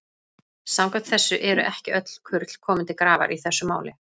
Samkvæmt þessu eru ekki öll kurl komin til grafar í þessu máli.